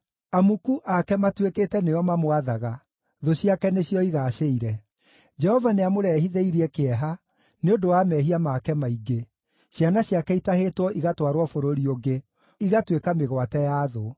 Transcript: Amuku ake matuĩkĩte nĩo mamwathaga; thũ ciake nĩcio igaacĩire. Jehova nĩamũrehithĩirie kĩeha nĩ ũndũ wa mehia make maingĩ. Ciana ciake itahĩtwo igatwarwo bũrũri ũngĩ, igatuĩka mĩgwate ya thũ.